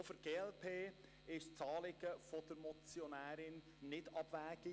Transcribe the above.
Auch für die glp ist das Anliegen der Motionärin nicht abwegig.